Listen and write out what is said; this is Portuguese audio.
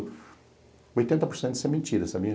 oitenta por cento disso é mentira, sabia?